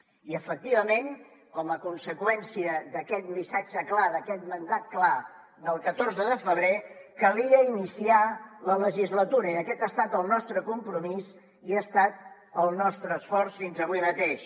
i efectivament com a conseqüència d’aquest missatge clar d’aquest mandat clar del catorze de febrer calia iniciar la legislatura i aquest ha estat el nostre compromís i ha estat el nostre esforç fins avui mateix